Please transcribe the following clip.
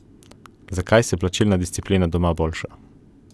Zakaj se plačilna disciplina doma boljša?